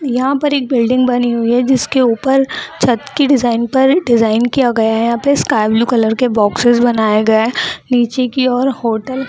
यहां पर एक बिल्डिंग बनी हुई है जिसके ऊपर छत के डिजाइन पर डिजाइन किया गया है यहां पे स्काई ब्लू कलर के बॉक्सेस बनाया गया है नीचे की ओर होटल --